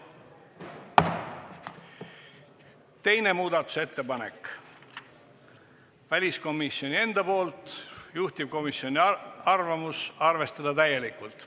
Teine muudatusettepanek on väliskomisjoni enda poolt, juhtivkomisjoni arvamus: arvestada täielikult.